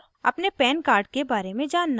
अपने pan card के बारे में जानना